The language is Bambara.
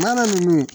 Mana ninnu